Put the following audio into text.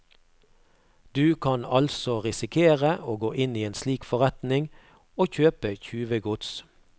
Du kan altså risikere å gå inn i en slik forretning å kjøpe tjuvegods.